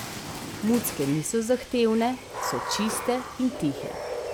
Mucke niso zahtevne, so čiste in tihe.